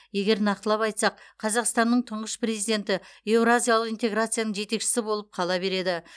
егер нақтылап айтсақ қазақстанның тұңғыш президенті еуразиялық интеграцияның жетекшісі болып қала береді